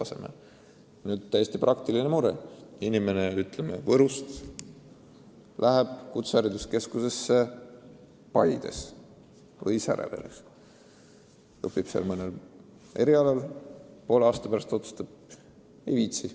Selline täiesti praktiline mure, et inimene, ütleme, läheb Võrust kutsehariduskeskusesse Paides või õigemini Säreveres, õpib seal mõnel erialal, aga poole aasta pärast otsustab, et ei viitsi.